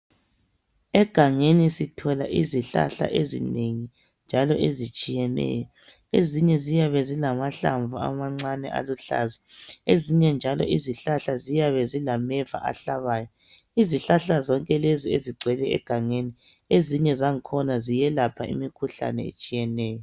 Egangeni sithola izihlahla ezinengi njalo ezitshiyeneyo. Ezinye ziyabe zilamahlamvu amancane aluhlaza. Ezinye njalo izihlahla ziyabe zilameva ahlabayo. lzihlahla zonke lezi, ezigcwele egangeni, ezinye ziyelapha imikhuhlane etshiyeneyo.